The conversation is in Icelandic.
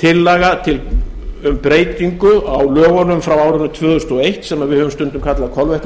tillaga um breytingu á lögunum frá árinu tvö þúsund og eitt sem við höfum stundum kallað